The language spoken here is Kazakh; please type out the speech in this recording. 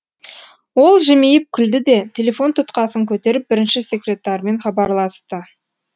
ол жымиып күлді де телефон тұтқасын көтеріп бірінші секретармен хабарласты